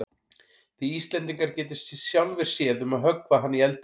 Þið Íslendingar getið sjálfir séð um að höggva hana í eldinn.